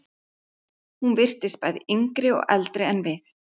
Hún virtist bæði yngri og eldri en við.